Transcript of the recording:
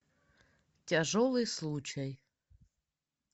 тяжелый случай